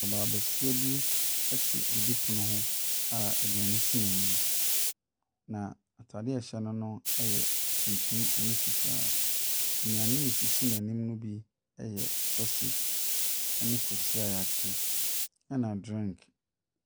Mmaa besia bi te didipono ho a aduane si n'anim. Na ataadeɛ a ɛhyɛ no yɛ tuntum ne fitaa. Nnuane esisi n'anim ne suasage ne kosua a yɛakye ne drink.